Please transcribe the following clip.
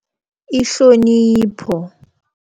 Ihlonipho.